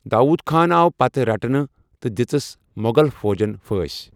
داؤد خان آو پتہٕ رٔٹنہٕ تہٕ دِژس مغل فوجن پھٲنٛسۍ۔